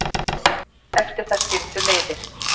Eftir það skildu leiðir